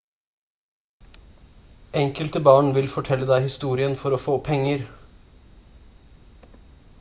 enkelte barn vil fortelle deg historien for å få penger